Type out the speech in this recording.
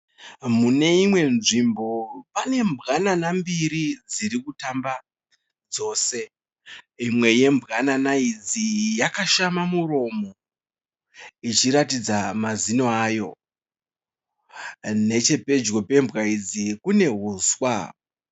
Muneimwe nzvimbo pane mbwanana mbiri dziri kutamba dzose. Imwe yembwanana yakashama muromo ichiratidza mazino ayo. Nechepedyo pembwa idzi kune huswa.